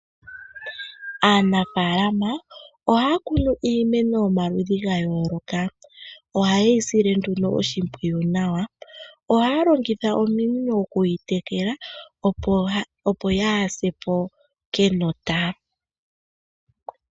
Aanafaalama ohaya kunu iimeno yomaludhi ga yooloka, oha yeyi sile nduno oshimpwiyu nawa, ohaya longitha ominino okuyi tekela, opo yaa sepo kenota.